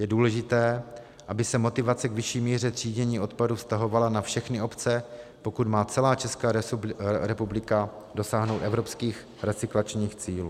Je důležité, aby se motivace k vyšší míře třídění odpadu vztahovala na všechny obce, pokud má celá Česká republika dosáhnout evropských recyklačních cílů.